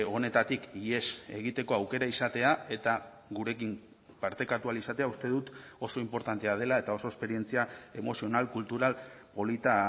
honetatik ihes egiteko aukera izatea eta gurekin partekatu ahal izatea uste dut oso inportantea dela eta oso esperientzia emozional kultural polita